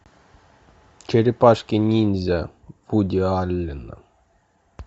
черепашки ниндзя вуди аллена